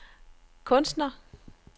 kunstner